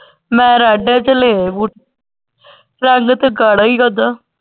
ਮੈਂ red ਚ ਲਏ ਹੁਣ ਰੰਗ ਤੇ .